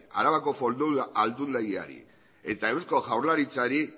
arabako foru aldundiari eta eusko jaurlaritzari